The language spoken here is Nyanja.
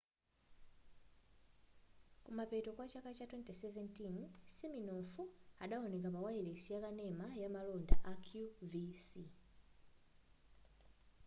kumapeto kwa chaka cha 2017 siminoff adawoneka pa wayilesi yakanena ya malonda ya qvc